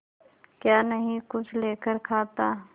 क्या नहीं कुछ लेकर खाता